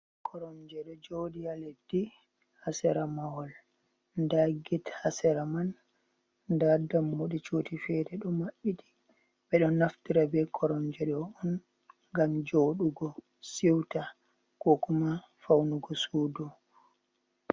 Koromje ɗo joɗi ha leddi hasera mahol, nda get hasera man, nda dammoɗe cuɗi fere ɗo maɓɓiti, ɓeɗo naftora be Koromje ɗo, ngam joɗugo siwta kokuma faunugo sudu.